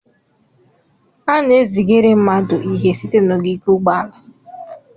A na-ezigara mmadụ ihe site n'ogige ụgbọala.